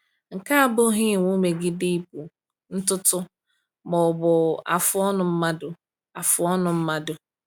Nke a abụghị iwu megide ịkpụ ntutu ma ọ bụ afụ ọnụ mmadụ. afụ ọnụ mmadụ.